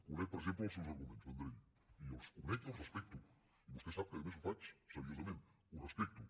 conec per exemple els seus arguments vendrell i els conec i els respecto i vostè sap que a més ho faig seriosament ho respecto